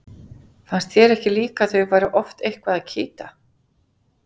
Fannst þér ekki líka að þau væru oft eitthvað að kýta?